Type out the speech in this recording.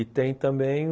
E tem também o...